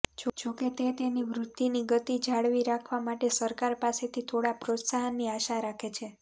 જોકે તે તેની વૃદ્ધિની ગતિ જાળવી રાખવા માટે સરકાર પાસેથી થોડા પ્રોત્સાહનની આશા રાખે છે